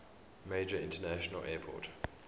major international airport